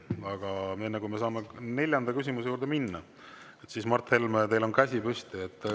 Aga enne, kui me saame neljanda küsimuse juurde minna, Mart Helme, teil on käsi püsti.